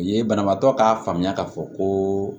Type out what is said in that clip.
U ye banabaatɔ k'a faamuya k'a fɔ ko